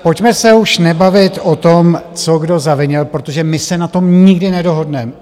Pojďme se už nebavit o tom, co kdo zavinil, protože my se na tom nikdy nedohodneme.